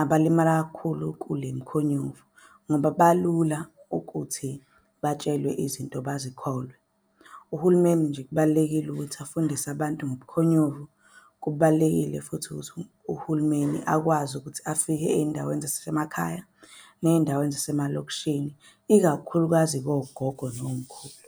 abalimala kakhulu kule mkhonyovu ngoba balula ukuthi batshelwe izinto bazikholwe. Uhulumeni nje kubalulekile ukuthi afundise abantu ngobukhonyovu. Kubalulekile futhi ukuthi uhulumeni akwazi ukuthi afike ey'ndaweni . Ney'ndaweni zasemalokishini, ikakhulukazi kogogo nomkhulu.